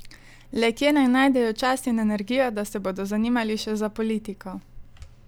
Le kje naj najdejo čas in energijo, da se bodo zanimali še za politiko?